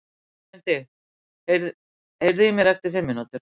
Benedikt, heyrðu í mér eftir fimm mínútur.